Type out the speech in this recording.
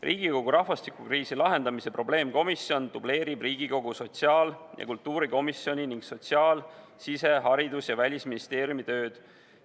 Riigikogu rahvastikukriisi lahendamise probleemkomisjon dubleerib Riigikogu sotsiaal- ja kultuurikomisjoni ning sotsiaal-, sise-, haridus- ja välisministeeriumi tööd.